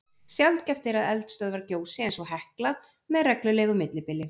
Sjaldgæft er að eldstöðvar gjósi eins og Hekla með reglulegu millibili.